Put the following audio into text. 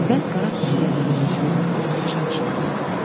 Əvvəl qara tüstüyə bürünmüş vertolyot aşağı düşürdü.